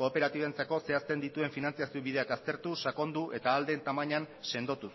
kooperatibentzako zehazten dituen finantziazio bideak aztertu sakondu eta ahal den tamainan sendotuz